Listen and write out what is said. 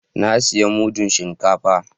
Na siya mudun shinkafa